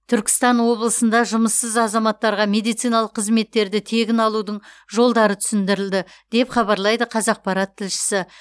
түркістан облысында жұмыссыз азаматтарға медициналық қызеттерді тегін алудың жолдары түсіндірілді деп хабарлайды қазақпарат тілшісі